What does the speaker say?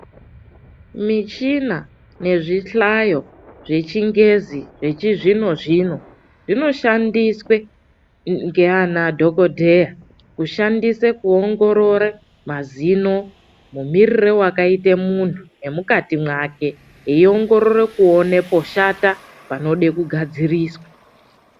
Michina nezvihlayo zvechingezi yechizvino zvino zvinoshandiswe ngeana dhogodheya kushandise kuongorora mazino. Mumirire wakaita muntu nemukati mwake, eiongorore kuone poshata, panode kugadziriswa.